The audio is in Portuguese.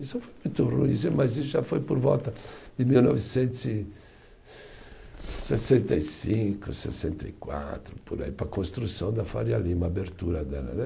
Isso foi muito ruim sim, mas isso já foi por volta de mil novecentos e sessenta e cinco, sessenta e quatro, por aí, para a construção da Faria Lima, a abertura dela né.